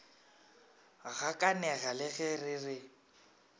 gakanega le ge re re